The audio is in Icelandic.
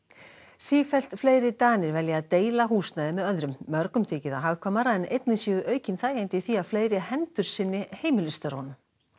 sífellt fleiri Danir velja að deila húsnæði með öðrum mörgum þykir það hagkvæmara en einnig séu aukin þægindi í því að fleiri hendur sinni heimilisstörfunum